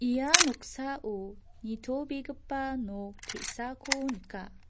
ia noksao nitobegipa nok te·sako nika.